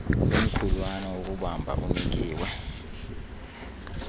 omkhulwana wokubamba unikiwe